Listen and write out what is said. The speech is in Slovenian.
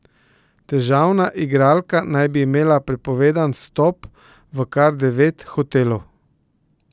Težavna igralka naj bi imela prepovedan vstop v kar devet hotelov.